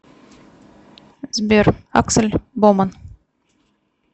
сбер аксель боман